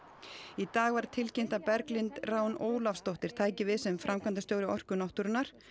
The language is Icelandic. í dag var tilkynnt að Berglind Rán Ólafsdóttir tæki við sem framkvæmdastjóri Orku náttúrunnar